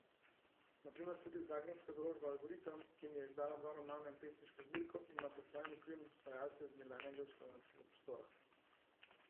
Na primer tudi zagrebška založba Algoritam, ki mi je izdala dva romana in pesniško zbirko, ima pod svojim okriljem ustvarjalce z nekdanjega jugoslovanskega prostora.